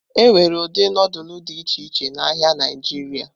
Enwere ụdị nudulu dị iche iche n'ahịa Naijiria.